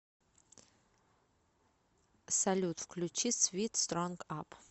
салют включи свит стронг ап